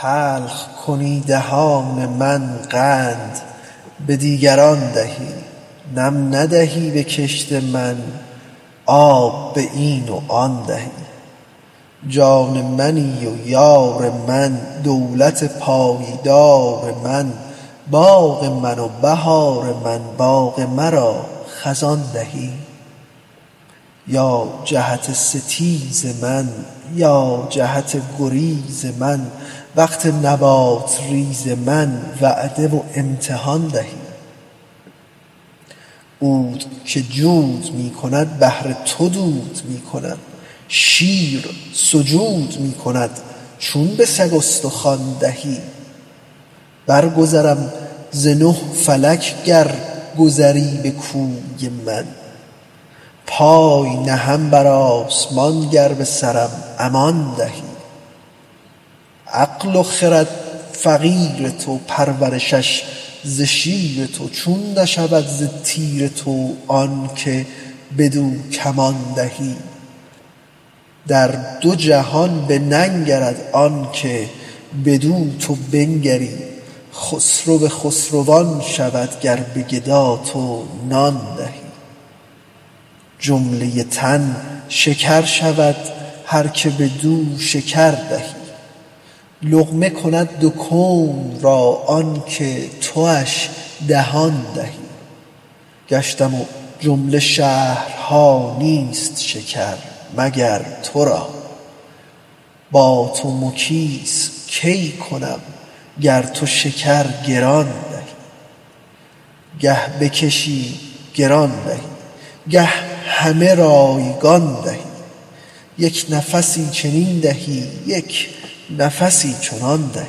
تلخ کنی دهان من قند به دیگران دهی نم ندهی به کشت من آب به این و آن دهی جان منی و یار من دولت پایدار من باغ من و بهار من باغ مرا خزان دهی یا جهت ستیز من یا جهت گریز من وقت نبات ریز من وعده و امتحان دهی عود که جود می کند بهر تو دود می کند شیر سجود می کند چون به سگ استخوان دهی برگذرم ز نه فلک گر گذری به کوی من پای نهم بر آسمان گر به سرم امان دهی عقل و خرد فقیر تو پرورشش ز شیر تو چون نشود ز تیر تو آنک بدو کمان دهی در دو جهان بننگرد آنک بدو تو بنگری خسرو خسروان شود گر به گدا تو نان دهی جمله تن شکر شود هر که بدو شکر دهی لقمه کند دو کون را آنک تواش دهان دهی گشتم جمله شهرها نیست شکر مگر تو را با تو مکیس چون کنم گر تو شکر گران دهی گه بکشی گران دهی گه همه رایگان دهی یک نفسی چنین دهی یک نفسی چنان دهی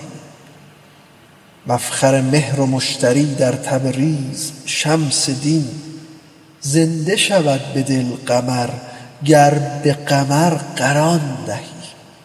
مفخر مهر و مشتری در تبریز شمس دین زنده شود دل قمر گر به قمر قران دهی